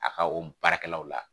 A ka o baarakɛlaw la